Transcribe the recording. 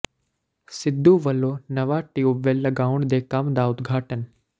ਸਿੱਧੁ ਵੱਲੋਂ ਨਵਾਂ ਟਿਊਬਵੈਲ ਲਾਉਣ ਦੇ ਕੰਮ ਦਾ ਉਦਘਾਟਨ